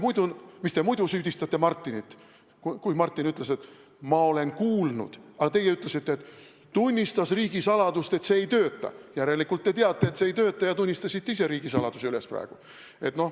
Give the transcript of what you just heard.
Miks te muidu süüdistasite Martinit, kui Martin ütles, et ta on kuulnud, aga teie ütlesite, et ta tunnistas üles riigisaladuse, et see ei tööta, järelikult te teate, et see ei tööta, ja tunnistasite ise praegu riigisaladuse üles.